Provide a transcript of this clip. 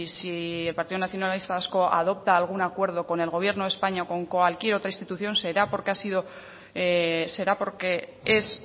si el partido nacionalista vasco adopta algún acuerdo con el gobierno de españa o con cualquier otra institución será porque es